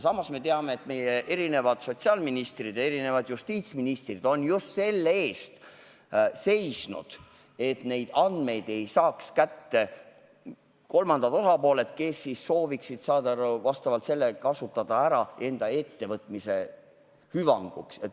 Samas me teame, et meie sotsiaalministrid ja justiitsministrid on seisnud just selle eest, et neid andmeid ei saaks kätte kolmandad osapooled, kes sooviksid neid ära kasutada enda ettevõtmiste hüvanguks.